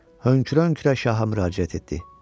Hönkürə-hönkürə şaha müraciət etdi.